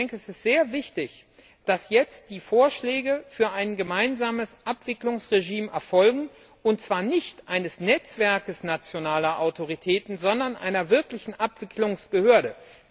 Es ist sehr wichtig, dass jetzt die Vorschläge für ein gemeinsames Abwicklungsregime erfolgen, und zwar nicht eines Netzwerkes nationaler Autoritäten, sondern einer wirklichen Abwicklungsbehörde.